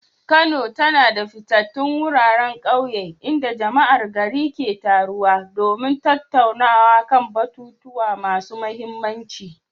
Kano na da fitattun wuraren kauye inda jama'ar gari ke taruwa domin tattaunawa kan batutuwa masu mahimmanci.